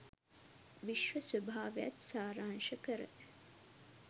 විශ්ව ස්වභාවයත් සාරාංශ කර